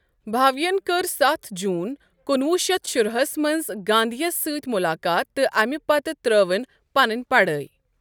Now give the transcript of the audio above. بھاویَن کٔر ستھ جون کُنوُہ شیتھ شُراہَس منٛز گاندھی یَس سۭتۍ مُلاقات تہٕ امہِ پتہٕ ترٲوٕنۍ پنٕنۍ پڑھٲے۔